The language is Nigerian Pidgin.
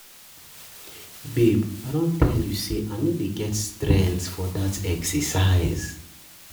Babe I don tell you say I no dey get strength for dat exercise